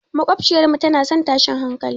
Maƙwabciyarmu tana son tashin hankali.